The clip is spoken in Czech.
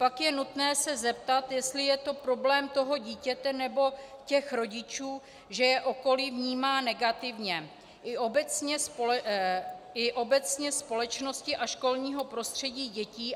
Pak je nutné se zeptat, jestli je to problém toho dítěte, nebo těch rodičů, že je okolí vnímá negativně, i obecně společnosti a školního prostředí dětí.